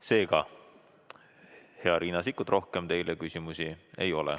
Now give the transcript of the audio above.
Seega, hea Riina Sikkut, rohkem teile küsimusi ei ole.